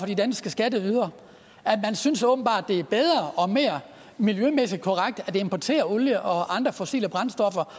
de danske skatteydere man synes åbenbart at det er bedre og mere miljømæssigt korrekt at importere olie og andre fossile brændstoffer